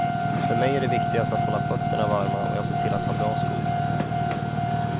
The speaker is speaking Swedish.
För mig är det viktigast att hålla fötterna varma och jag ser till att ha bra skor.